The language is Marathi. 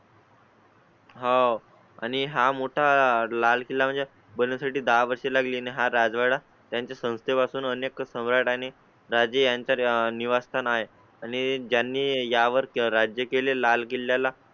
हां आणि हा मोठा लाल किल्ला म्हणजे भल्या साठी दहा वर्षे लागली. हा राजवाडा त्यांच्या संस्थे पासून अनेक सम्राट आणि राज यांच्या निवास्थाना आहे आणि ज्यांनी यावर राज्य केले लाल किल्ला,